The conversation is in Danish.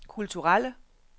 kulturelle